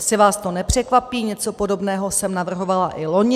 Asi vás to nepřekvapí, něco podobného jsem navrhovala i loni.